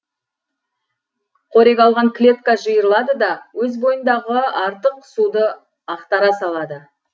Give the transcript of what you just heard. қорек алған клетка жиырылады да өз бойындағы артық суды ақтара салады